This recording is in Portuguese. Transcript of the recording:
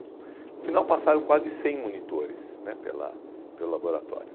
No final passaram quase cem monitores né pela pelo laboratório.